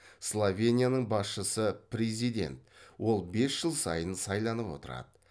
словенияның басшысы президент ол бес жыл сайын сайланып отырады